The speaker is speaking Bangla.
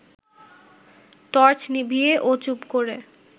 টর্চ নিভিয়ে ও চুপ করে